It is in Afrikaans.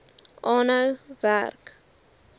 aanhou werk